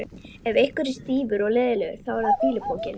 Ef einhver er stífur og leiðinlegur þá er það fýlupokinn.